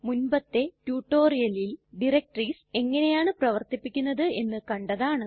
മുൻപത്തെ റ്റുറ്റൊരിയലിൽ ഡയറക്ടറീസ് എങ്ങനെയാണു പ്രവര്ത്തിപ്പിക്കുന്നത് എന്ന് കണ്ടതാണ്